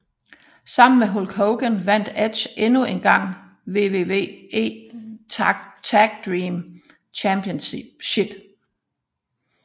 Sammen med Hulk Hogan vandt Edge endnu en gang WWE Tag Team Championship